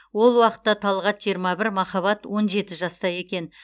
ол уақытта талғат жиырма бір махаббат он жеті жаста екен